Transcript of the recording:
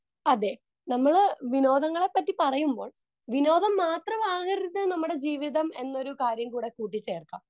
Speaker 2 അതെ. നമ്മൾ വിനോദങ്ങളെപ്പറ്റി പറയുമ്പോൾ വിനോദം മാത്രം ആകരുത് നമ്മുടെ ജീവിതം എന്നൊരു കാര്യം കൂടെ കൂട്ടിച്ചേർക്കാം.